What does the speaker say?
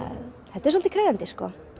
þetta er svolítið krefjandi